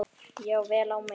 Já, vel á minnst.